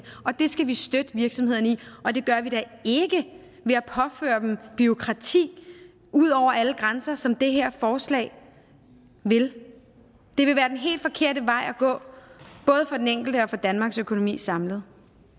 og det skal vi støtte virksomhederne i og det gør vi da ikke ved at påføre dem bureaukrati ud over alle grænser som det her forslag vil det vil være den helt forkerte vej at gå både for den enkelte og for danmarks økonomi samlet